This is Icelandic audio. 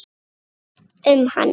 Um hana?